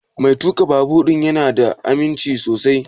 Mai tuƙa babur ɗin ya na da aminci sosai?